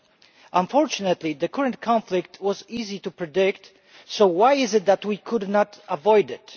It is unfortunately true that the current conflict was easy to predict so why is it that we could not avoid it?